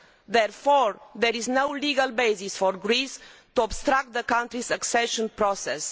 Therefore, there is no legal basis for Greece to obstruct the country's accession process.